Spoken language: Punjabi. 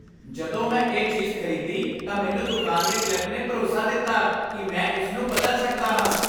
ਜਦੋਂ ਮੈਂ ਇਹ ਚੀਜ਼ ਖ਼ਰੀਦੀ ਤਾਂ ਮੈਨੂੰ ਦੁਕਾਨ ਦੇ ਕਲਰਕ ਨੇ ਭਰੋਸਾ ਦਿੱਤਾ ਕਿ ਮੈਂ ਇਸ ਨੂੰ ਬਦਲ ਸਕਦਾ ਹਾਂ।